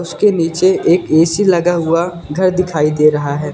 उसके नीचे एक ए_सी लगा हुआ घर दिखाई दे रहा है।